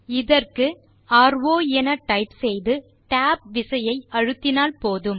இதற்கு நாம் ரோ என டைப் செய்து tab விசையை அழுத்தினால் போதும்